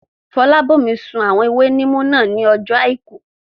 Fọlábòmí sun àwọn ewé níìmù náà ní ọjọ́ àìkú